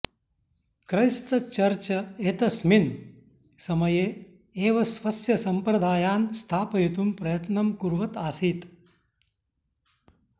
Christ church एतस्मिन् समये एव स्वस्य सम्प्रदायान् स्थापयितुं प्रयत्नं कुर्वत् आसीत्